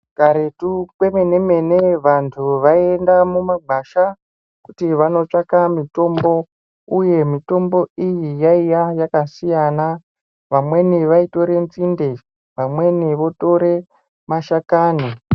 Karetu kwemene-mene vantu vaienda mumagwasha kuti vandotsvaka mitombo, uye mitombo iyi yaiya yakasiyana, vamweni vaitora nzinde, imweni votore mashakani.